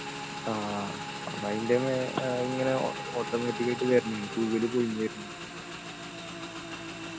ആഹ് അതിൻ്റെ മേ ഇങ്ങനെ automatic ആയിട്ട് വരുന്ന തൂവല് പൊഴിഞ്ഞു വരുന്നു